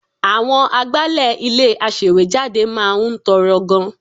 Àwọn agbálẹ̀ ilé-aṣèwéjádé máa ń tọrọ gan-an